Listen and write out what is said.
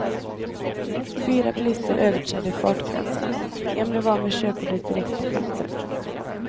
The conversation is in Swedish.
Fyra bilister överträdde fartgränserna, en blev av med körkortet direkt på platsen.